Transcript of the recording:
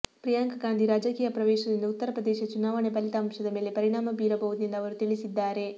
ಪ್ರಿಯಾಂಕ ಗಾಂಧಿ ರಾಜಕೀಯ ಪ್ರವೇಶದಿಂದ ಉತ್ತರ ಪ್ರದೇಶ ಚುನಾವಣೆ ಫಲಿತಾಂಶದ ಮೇಲೆ ಪರಿಣಾಮ ಬೀರಬಹುದು ಎಂದು ಅವರು ತಿಳಿಸಿದ್ದಾರೆ